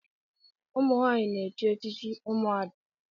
ụmụnwanyị na-echi echichi ụmụada